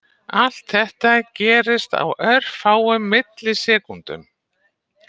Allt þetta gerist á örfáum millisekúndum.